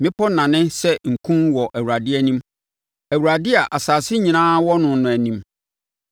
Mmepɔ nane sɛ nku wɔ Awurade anim, Awurade a asase nyinaa wɔ no no anim.